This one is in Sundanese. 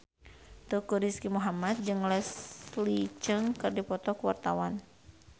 Teuku Rizky Muhammad jeung Leslie Cheung keur dipoto ku wartawan